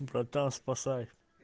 братан спасай